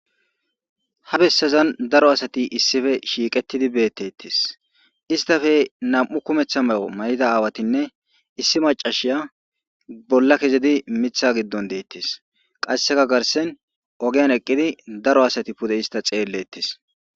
Ha besasan daro asati shiqidi bettetes isttappe na'mu kumeththa ma'o mayidda aawatinne issi mac'asiya bolla ke'izi miththa giddon detes qasseka garssen ogoyan eqqidi daro asati issta pudde xeletes.